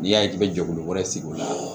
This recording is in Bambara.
N'i y'a ye i bɛ jɛkulu wɛrɛ sigi o la